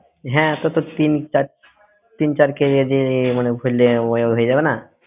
হ্যাঁ তোর তো তিন চার KG মানে ভইরলে উহ হয়ে যাবে না?